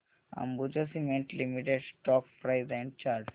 Ambuja cement limited stock price and chart